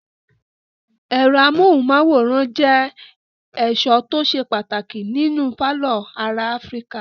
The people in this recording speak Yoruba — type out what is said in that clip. Ẹ̀rọ amóhùmáwòhán jẹ́ ẹ̀sọ́ tó ṣe pàtàkì nínú pálọ̀ ará Áfíríkà.